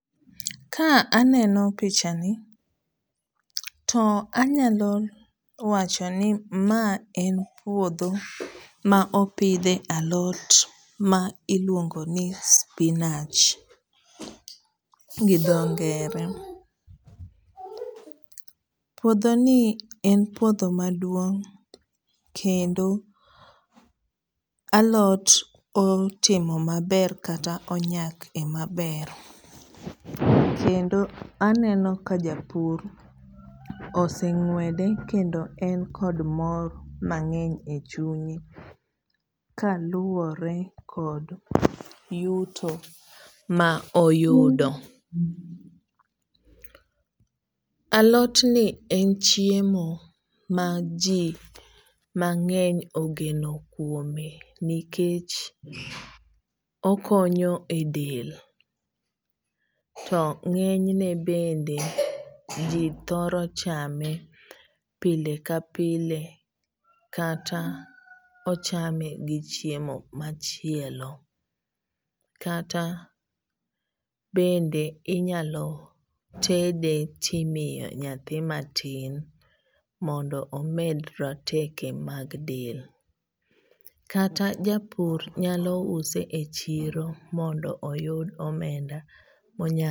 Ka aneno pichani to anyalo wachoni ma en puodho ma opidhe alot ma iluongoni spinach gi dho ngere. Puodhoni en puodho maduong' kendo alot otimo maber kata onyake e maber. Kendo aneno ka japur oseng'uede kendo en kod mor mang'eny e chunye kaluore kod yuto ma oyudo. Alotni en chiemo ma jii mang'eny ogeno kuome nikech okonyo e del to ng'enyne bende jii thoro chame pile ka pile kata ochame gi chiemo machielo. Kata bende inyalo tede timiyo nyathi ma tin mondo omed roteke mag del. Kata japur nyalo use e chiro mondo oyud omenda monya